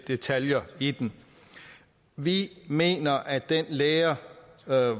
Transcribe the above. detaljer i den vi mener at den lære